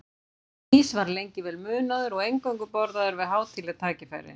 Ís var lengi vel munaður og eingöngu borðaður við hátíðleg tækifæri.